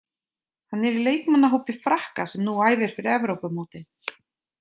Hann er í leikmannahópi Frakka sem nú æfir fyrir Evrópumótið.